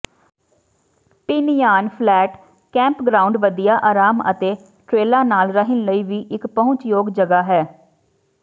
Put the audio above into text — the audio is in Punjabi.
ਪਿਨਯਾਨ ਫਲੈਟ ਕੈਂਪਗ੍ਰਾਉਂਡ ਵਧੀਆ ਆਰਾਮ ਅਤੇ ਟ੍ਰੇਲਾਂ ਨਾਲ ਰਹਿਣ ਲਈ ਵੀ ਇੱਕ ਪਹੁੰਚਯੋਗ ਜਗ੍ਹਾ ਹੈ